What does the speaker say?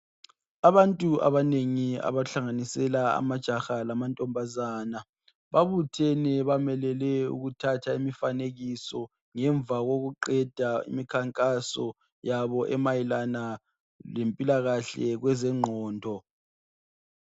Abantu abanengi abahlanganisela amajaha lamantombazana babuthene bamelele ukuthatha imifanekiso ngemva kokuqeda imikhankaso yabo emayelana lempilakahle kwezengqondo.